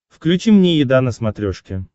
включи мне еда на смотрешке